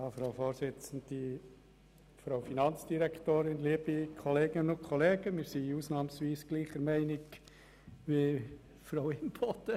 Wir sind ausnahmsweise gleicher Meinung wie Grossrätin Imboden.